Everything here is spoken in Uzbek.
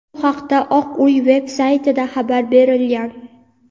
Bu haqda Oq uy veb-saytida xabar berilgan.